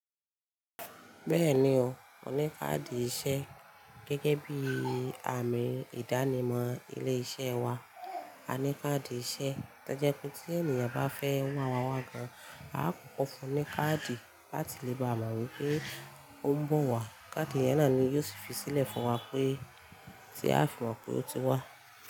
Bẹ́ẹ̀ni o, mo ní káàdì iṣẹ́. Gẹ́gẹ́ bí àmì ìdánimọ̀ ilé-iṣẹ́ wa, a ní káàdì iṣẹ́. To jẹ́ pé tí ènìyàn bá fẹ́ wá wáwá gan, a ó kọ́kọ́ fún un ní káàdì láti lè bá mọ̀ wípé ó ń bọ̀ wá. Káàdì yẹn náà ni yóò fi sílẹ̀ fún wa pé tí a fi mọ̀ pé ó ti wá.